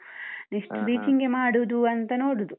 next teaching ಗೆ ಮಾಡುದು ಅಂತ ನೋಡುದು.